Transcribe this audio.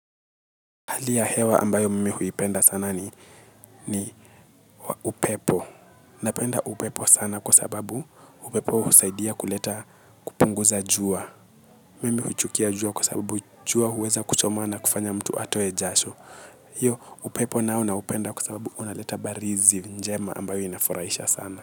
Hali ya hewa ambayo mimi huipenda sana ni upepo. Napenda upepo sana kwa sababu upepo husaidia kuleta kupunguza jua. Mimi huchukia jua kwa sababu jua huweza kuchoma na kufanya mtu atoe jasho. Iyo upepo nao na upenda kwa sababu unaleta barizi njema ambayo inafurahisha sana.